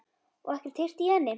Og ekkert heyrt í henni?